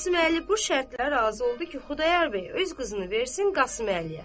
Qasım Əli bu şərtə razı oldu ki, Xudayar bəy öz qızını versin Qasım Əliyə.